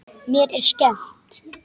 Mér er skemmt.